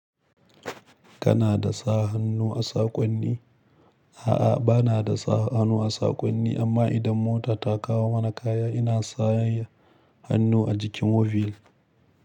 Kana da sa hannu a saƙonni? A'a, bana da sa hannu a saƙonni amma idan mota ta kawo mana kaya ina sanya hannu a jikin waybill.